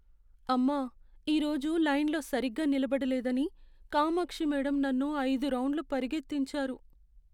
అమ్మా, ఈరోజు లైన్లో సరిగ్గా నిలబడలేదని కామాక్షి మేడం నన్ను ఐదు రౌండ్లు పరిగెత్తించారు.